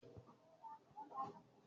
Mo ma tó bomi sí irúgbìn